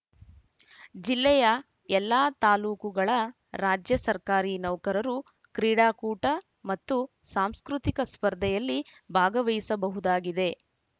ಜಿಲ್ಲೆಯ ಎಲ್ಲ ತಾಲೂಕುಗಳ ರಾಜ್ಯ ಸರ್ಕಾರಿ ನೌಕರರು ಕ್ರೀಡಾಕೂಟ ಮತ್ತು ಸಾಂಸ್ಕೃತಿಕ ಸ್ಪರ್ಧೆಯಲ್ಲಿ ಭಾಗವಹಿಸಬಹುದಾಗಿದೆ